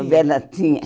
Novela tinha.